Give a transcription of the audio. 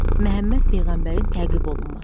Məhəmməd Peyğəmbərin təqib olunması.